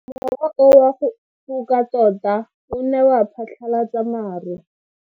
Mowa o wa go foka tota o ne wa phatlalatsa maru.